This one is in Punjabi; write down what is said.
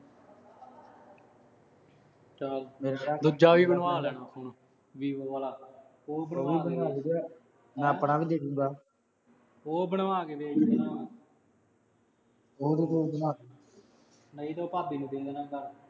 ਚਲ ਮਿਲਦੇ ਆ। ਦੂਜਾ ਵੀ ਬਣਵਾ ਲੈਣਾ ਫੋਨ ਵੀਵੋ ਵਾਲਾ। ਉਹ ਵੀ ਬਣਵਾ । ਮੈਂ ਆਪਣਾ ਵੀ ਦੇ ਦੂਗਾ। ਉਹ ਬਣਵਾ ਕੇ ਦੇ ਦੀ ਨਹੀਂ ਤਾਂਂ ਉਹ ਭਾਬੀ ਨੂੰ ਦੇ ਦੇਣਾ।